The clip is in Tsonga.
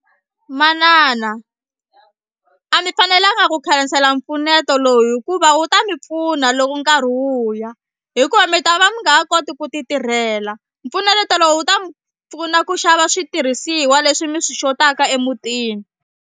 Manana a mi fanelanga ku khansela mpfuneto lowu hikuva wu ta mi pfuna loko nkarhi wu ya hikuva mi ta va mi nga ha koti ku titirhela mpfuneto lowu wu ta mi pfuna ku xava switirhisiwa leswi mi swi xotaka emutini.